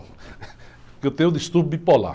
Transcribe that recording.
Porque eu tenho um distúrbio bipolar.